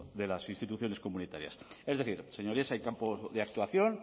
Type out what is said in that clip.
de las instituciones comunitarias es decir señorías hay campo de actuación